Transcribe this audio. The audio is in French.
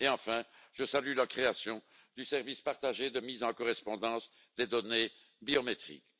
Enfin, je salue la création du service partagé de mise en correspondance des données biométriques.